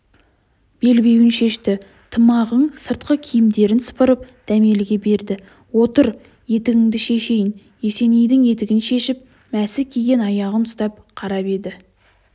белбеуін шешті тымағың сыртқы киімдерін сыпырып дәмеліге берді отыр етігіңді шешейін есенейдің етігін шешіп мәсі киген аяғын ұстап қарап еді